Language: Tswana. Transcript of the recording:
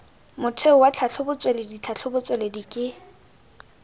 motheo wa tlhatlhobotsweledi tlhatlhobotsweledi ke